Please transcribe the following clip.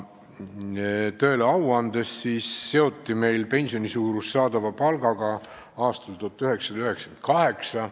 Tõele au andes seoti meil pensioni suurus saadava palgaga aastal 1998.